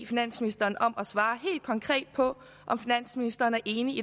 finansministeren om at svare helt konkret på om finansministeren er enig